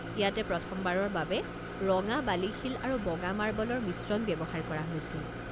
ইয়াতে প্ৰথমবাৰৰ বাবে ৰঙা বালি-শিল আৰু বগা মাৰ্বলৰ মিশ্ৰণ ব্যৱহাৰ কৰা হৈছিল।